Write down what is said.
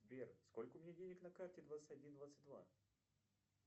сбер сколько у меня денег на карте двадцать один двадцать два